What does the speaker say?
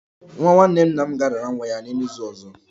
Nwa nwanne nna m ga-arara nwa ya nye n'izu ọzọ